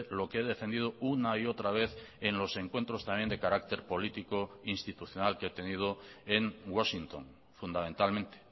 lo que he defendido una y otra vez en los encuentros también de carácter político e institucional que he tenido en washington fundamentalmente